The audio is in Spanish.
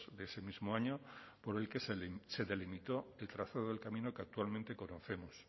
de ese mismo año por el que se delimitó el trazado del camino que actualmente conocemos